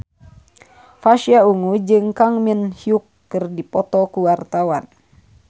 Pasha Ungu jeung Kang Min Hyuk keur dipoto ku wartawan